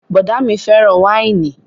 Bọ̀ọ̀dá mi fẹ́ràn wáìnì